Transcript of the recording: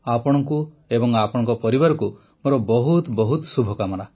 ଆପଣଙ୍କୁ ଏବଂ ଆପଣଙ୍କ ପରିବାରକୁ ମୋର ବହୁତ ବହୁତ ଶୁଭକାମନା